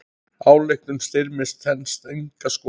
Ályktun Styrmis stenst enga skoðun.